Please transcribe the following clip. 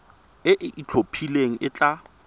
e e itlhophileng e tla